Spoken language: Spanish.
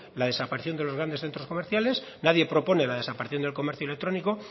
la desaparición de los grandes centros comerciales nadie propone la desaparición del comercio electrónico